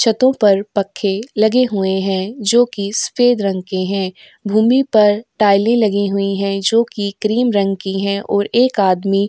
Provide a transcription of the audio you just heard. छतों पर पखे लगे हुए हैं जोकि सफ़ेद रंग के हैं। भूमि पर टाइलें लगी हुई हैं जोकि क्रीम रंग की हैं और एक आदमी --